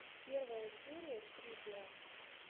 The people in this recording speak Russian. первая серия скрипера